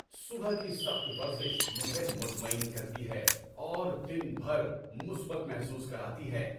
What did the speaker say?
صبح کی سخت ورزش مجھے مطمئن کرتی ہے اور دن بھر مثبت محسوس کراتی ہے۔